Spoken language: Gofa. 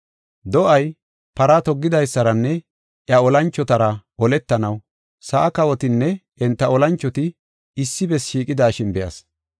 Do7ay, para toggidaysaranne iya olanchotara oletanaw sa7a kawotinne enta olanchoti issi bessi shiiqidashin be7as.